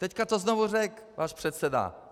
Teď to znovu řekl váš předseda.